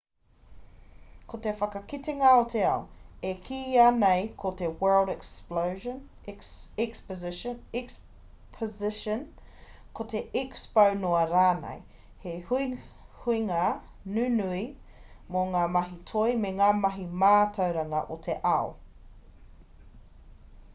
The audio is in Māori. ko te whakakitenga o te ao e kīia nei ko te world exposition ko te expo noa rānei he huihuinga nunui mō ngā mahi toi me ngā mahi mātauranga o te ao